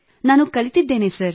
ನಾನು ಕಲಿತಿದ್ದೇನೆ ಸರ್